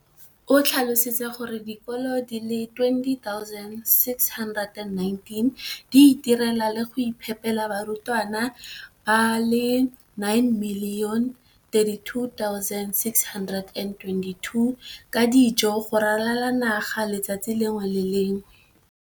o tlhalositse gore dikolo di le 20 619 di itirela le go iphepela barutwana ba le 9 032 622 ka dijo go ralala naga letsatsi le lengwe le le lengwe.